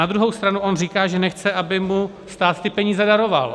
Na druhou stranu on říká, že nechce, aby mu stát ty peníze daroval.